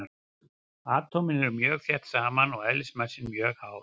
Atómin eru mjög þétt saman og eðlismassinn mjög hár.